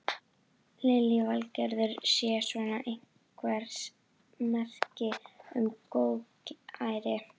Lillý Valgerður: Sé svona einhvers merki um góðæri?